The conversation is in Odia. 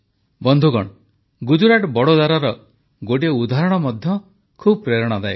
ବନ୍ଧୁଗଣ ଗୁଜରାଟ ବଦୋଦରାର ଗୋଟିଏ ଉଦାହରଣ ମଧ୍ୟ ବହୁତ ପ୍ରେରଣାଦାୟକ